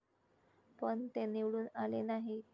पण, ते निवडून आले नाही?